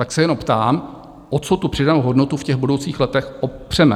Tak se jenom ptám, o co tu přidanou hodnotu v těch budoucích letech opřeme?